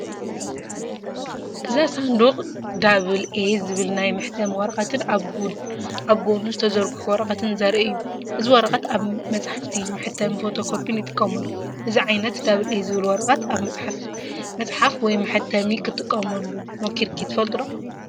እዚ ሳንዱቕ ዳብል ኤ" ዝብል ናይ መሕተሚ ወረቐትን ኣብ ጎድኑ ዝተዘርግሑ ወረቐትን ዘርኢ እዩ። እዚ ወረቐት ኣብ መጻሕፍቲ ፡ መሕተሚን ፎቶኮፒን ይጥቀመሉ። እዚ ዓይነት “ዳብል ኤ” ዝብል ወረቐት ኣብ መጽሓፊ መጽሓፍ ወይ መሕተሚ ክትጥቀመሉ ሞኪርካ ትፍልጥ ደ?